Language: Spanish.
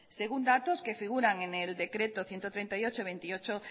según datos que figuran en el decreto ciento treinta y ocho de veintiocho